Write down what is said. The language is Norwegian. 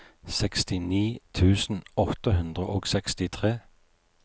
sekstini tusen åtte hundre og sekstitre